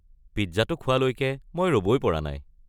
পিজ্জাটো খোৱালৈকে মই ৰ’বই পৰা নাই।